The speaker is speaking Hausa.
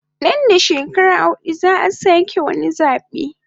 Nan da shekara hudu zaa sake wani zabe